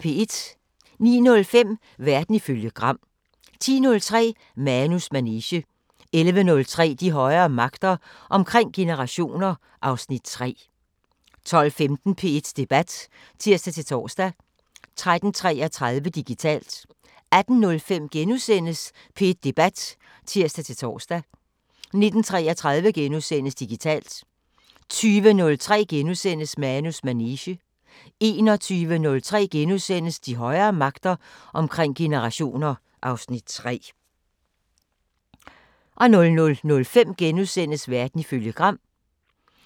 09:05: Verden ifølge Gram 10:03: Manus manege 11:03: De højere magter: Omkring generationer (Afs. 3) 12:15: P1 Debat (tir-tor) 13:33: Digitalt 18:05: P1 Debat *(tir-tor) 19:33: Digitalt * 20:03: Manus manege * 21:03: De højere magter: Omkring generationer (Afs. 3)* 00:05: Verden ifølge Gram *